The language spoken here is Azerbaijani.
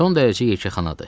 Son dərəcə yekəxanadır.